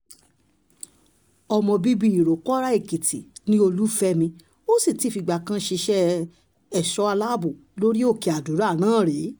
ọmọ bíbí ìròpórà-èkìtì ni olùfẹ́mi ó sì ti fìgbà kan ṣiṣẹ́ ẹ̀ṣọ́ aláàbò lórí òkè àdúrà náà rí